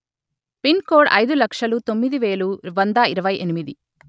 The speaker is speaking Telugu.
పిన్ కోడ్ అయిదు లక్షలు తొమ్మిది వేలు వంద ఇరవై ఎనిమిది